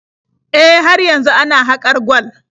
E, har yanzu ana haƙar gwal.